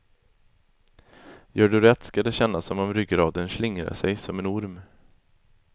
Gör du rätt ska det kännas som om ryggraden slingrar sig som en orm.